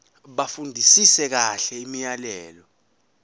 bafundisise kahle imiyalelo